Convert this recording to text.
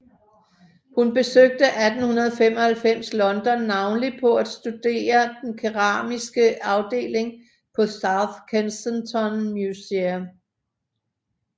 Hun besøgte 1895 London navnlig for at studere den keramiske afdeling på South Kensington Museum